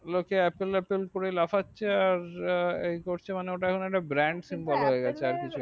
লোকে apple apple করে লাফাচ্ছে আর এই করছে মানে ওটা এখন একটা brand সিম্বলে হইয়া গেছে